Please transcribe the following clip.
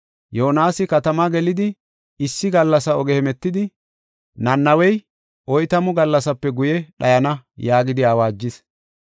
Yoonasi katama gelidi issi gallasa oge hemetidi, “Nanawey oytamu gallasape guye dhayana” yaagidi awaajis.